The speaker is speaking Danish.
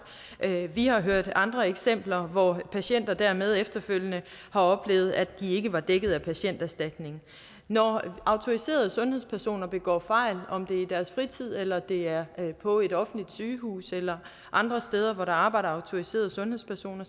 vi har hørt andre eksempler hvor patienter dermed efterfølgende har oplevet at de ikke var dækket af patienterstatningen når autoriserede sundhedspersoner begår fejl om det er i deres fritid eller det er på et offentligt sygehus eller andre steder hvor der arbejder autoriserede sundhedspersoner